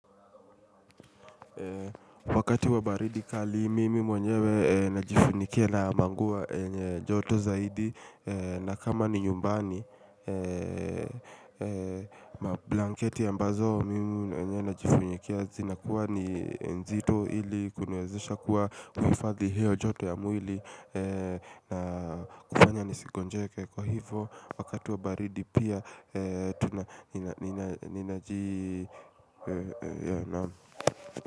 Wakati wa baridi kali mimi mwenyewe najifunikia na manguo yenye joto zaidi na kama ni nyumbani blanketi ambazo mimi mwenye najifunikia zinakuwa ni nzito ili kuniwezesha kuwa kuhifadhi hiyo joto ya mwili. Na kufanya nisigonjeke kwa hivo wakati wa baridi pia ninaji.